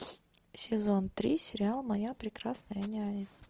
сезон три сериал моя прекрасная няня